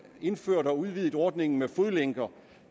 indført og udvidet ordningen med fodlænker